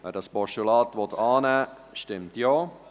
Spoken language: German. Wer dieses Postulat annehmen will, stimmt Ja.